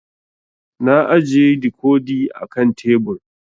Na ajiye dikodi a kan tebur